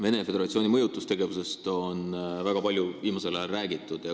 Venemaa Föderatsiooni mõjutustegevusest on viimasel ajal väga palju räägitud.